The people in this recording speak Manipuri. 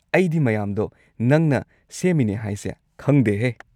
ꯑꯩꯗꯤ ꯃꯌꯥꯝꯗꯣ ꯅꯪꯅ ꯁꯦꯝꯃꯤꯅꯤ ꯍꯥꯏꯁꯦ ꯈꯪꯗꯦꯍꯦ꯫